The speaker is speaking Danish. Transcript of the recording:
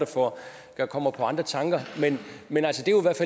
der kommer på andre tanker men